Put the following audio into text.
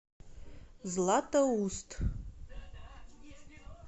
златоуст